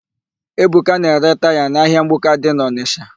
Ebuka na-ere taya n'ahịa mgbuka dị n'Ọnịsha.